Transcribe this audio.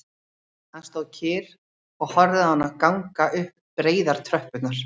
Hann stóð kyrr og horfði á hana ganga upp breiðar tröppurnar